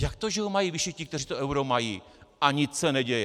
Jak to, že ho mají vyšší ti, kteří to euro mají, a nic se neděje?